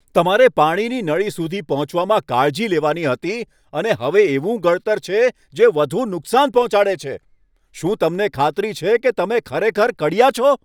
તમારે પાણીની નળી સુધી પહોંચવામાં કાળજી લેવાની હતી અને હવે એવું ગળતર છે, જે વધુ નુકસાન પહોંચાડે છે! શું તમને ખાતરી છે કે તમે ખરેખર કડિયા છો?